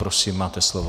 Prosím, máte slovo.